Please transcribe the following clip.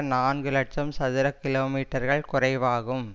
நான்கு இலட்சம் சதுர கிலோமீட்டர்கள் குறைவாகும்